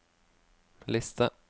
liste